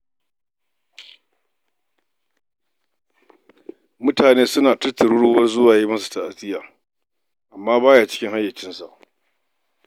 Mutane suna ta tururuwar zuwa yi masa ta'aziya, amma ba ya cikin hayyacinsa.